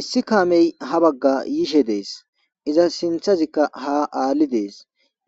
Issi kaamey ha bagga yishe dees iza sinthazikka ha aalli dees